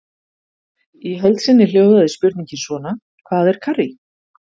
Í heild sinni hljóðaði spurningin svona: Hvað er karrí?